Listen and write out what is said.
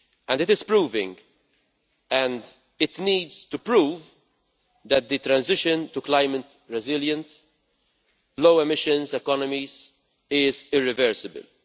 It is proving, and it needs to prove, that the transition to climate resilience and low emissions economies, is irreversible.